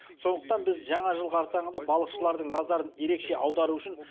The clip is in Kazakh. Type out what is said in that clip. сондықтан біз жаңа жыл қарсаңында балықшылардың назарын ерекше аудару үшін